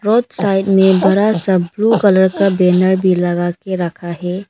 Side में बरा सा ब्लू कलर का बैनर भी लगा के रखा है।